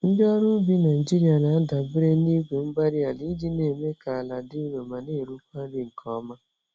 Ndị ọrụ ubi Nigeria na-adabere na igwe-mgbárí-ala iji némè' ka àlà dị nro ma n'erukwa nri nke ọma